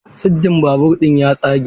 Siddin babur ɗin ya tsage.